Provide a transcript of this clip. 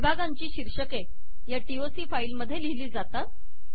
विभागांची शीर्षके या टीओसी फाईल मधे लिहिली जातात